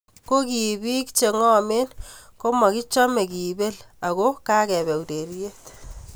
Ko kipiik che ngomen komakichome kipel ako kakepe ureriet.